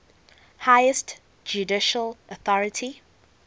highest judicial authority